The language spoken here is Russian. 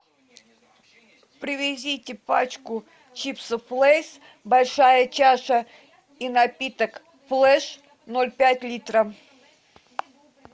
привезите пачку чипсов лейс большая чаша и напиток флеш ноль пять литра